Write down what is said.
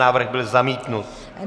Návrh byl zamítnut.